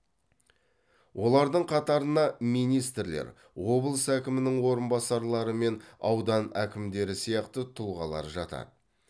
олардың қатарына министрлер облыс әкімінің орынбасарлары мен аудан әкімдері сияқты тұлғалар жатады